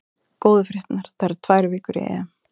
Góðu fréttirnar: það eru tvær vikur í EM.